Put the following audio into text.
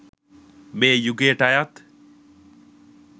මේ යුගයට අයත්